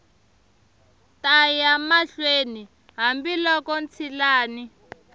ta ya mahlweni hambiloko ntshilani